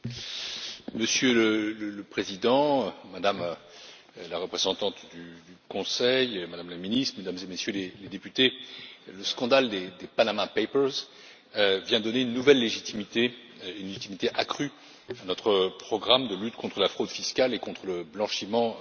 Monsieur le Président, Madame la représentante du Conseil, Madame la ministre, Mesdames et Messieurs les députés, le scandale des Panama papers vient donner une nouvelle légitimité, et une légitimité accrue, à notre programme de lutte contre la fraude fiscale et contre le blanchiment d'argent.